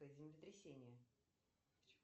землетрясение